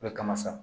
I bɛ kaman sa